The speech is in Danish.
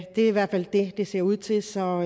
er i hvert fald det det ser ud til så